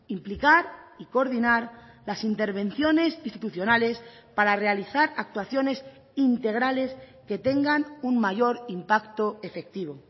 implicar y coordinar las intervenciones institucionales para realizar actuaciones integrales que tengan un mayor impacto efectivo